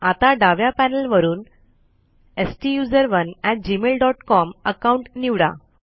आता डाव्या पॅनल वरून STUSERONEgmailcom अकाउंट निवडा